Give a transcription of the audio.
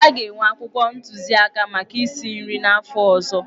A ga-enwe akwụkwọ ntụziaka maka isi nri n'afọ ọzọ.